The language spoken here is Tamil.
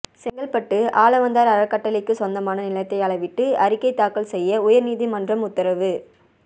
செங்கல்பட்டு ஆளவந்தாா் அறக்கட்டளைக்குச் சொந்தமான நிலத்தை அளவிட்டு அறிக்கை தாக்கல் செய்ய உயா்நீதிமன்றம் உத்தரவு